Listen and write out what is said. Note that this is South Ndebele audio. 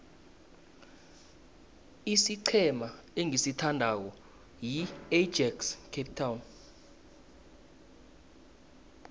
isiqhema engisithandako yiajax cape town